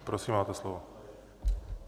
Prosím, máte slovo.